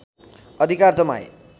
अधिकार जमाए